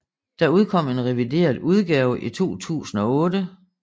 Der udkom en revideret udgave i 2008